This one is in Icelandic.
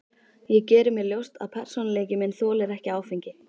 Ég geri mér ljóst að persónuleiki minn þolir ekki áfengi.